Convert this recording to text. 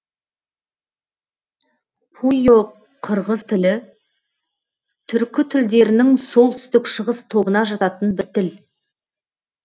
пуйо қырғыз тілі түркі тілдерінің солтүстік шығыс тобына жататын бір тіл